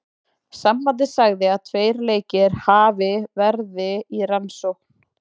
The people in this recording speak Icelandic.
Sambandið sagði að tveir leikir hafi verði í rannsókn.